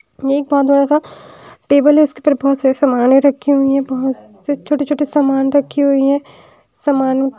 ये एक बहोत बड़ा सा टेबल है उसके पर बहोत सारे सामान रखी हुई हैं बहोत से छोटे छोटे सामान रखी हुई हैं सामान--